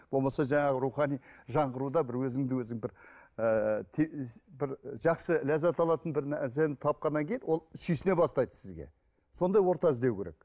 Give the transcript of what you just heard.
болмаса жаңағы рухани жаңғыруда бір өзіңді өзің бір ыыы бір жақсы ләззат алатын бір нәрсені тапқаннан кейін ол сүйсіне бастайды сізге сондай орта іздеу керек